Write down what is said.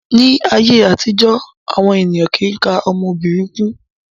Ní ayé àtijó, àwọn ènìyàn kìí ka ọmọ obìnrin kún.